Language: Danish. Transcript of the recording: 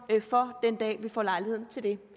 for den dag vi får lejlighed til det